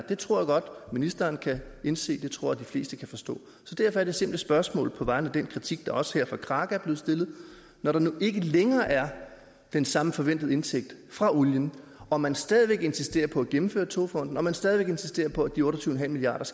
det tror jeg godt ministeren kan indse det tror jeg de fleste kan forstå derfor er det simple spørgsmål på vegne af den kritik der også her fra kraka når der nu ikke længere er den samme forventede indtægt fra olien og man stadig væk insisterer på at gennemføre togfonden dk og man stadig væk insisterer på at de otte og tyve milliard